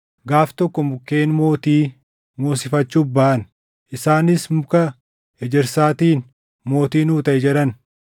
Gaaf tokko mukkeen mootii moosifachuuf baʼan; isaanis muka ejersaatiin, ‘Mootii nuu taʼi’ jedhan.